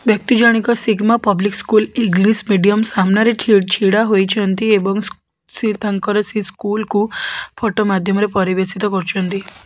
ବ୍ୟକ୍ତି ଜଣିକ Sigma Public School English Medium ସାମ୍ନାରେ ଛି ଛିଡ଼ା ହୋଇଛନ୍ତି ଏବଂ ସେ ତାଙ୍କର ସେଇ ସ୍କୁଲକୁ ଫଟ ଫଟୋ ମାଧ୍ୟମରେ ପରିବେଷିତ କରୁଚନ୍ତି।